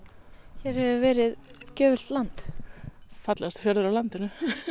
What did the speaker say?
hér hefur verið gjöfult land fallegasti fjörður á landinu